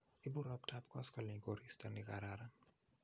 Ibu roptap koskoleny koristo nikararan.